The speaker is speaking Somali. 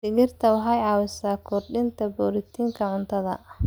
Digirta waxay caawisaa kordhinta borotiinka cuntada.